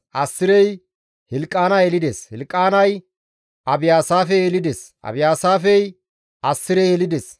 Assirey Hilqaana yelides; Hilqaanay Abiyaasaafe yelides; Abiyaasaafey Assire yelides;